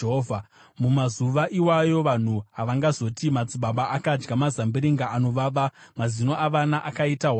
“Mumazuva iwayo vanhu havangazoti, “ ‘Madzibaba akadya mazambiringa anovava, mazino avana akaita hwadzira.’